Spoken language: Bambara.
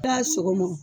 I y'a sogo m